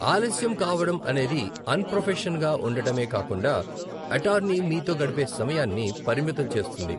ఆలస్యం కావడం అనేది అన్ప్రొఫెషన్గా ఉండటమే కాకుండా, అటార్నీ మీతో గడిపే సమయాన్ని పరిమితం చేస్తుంది.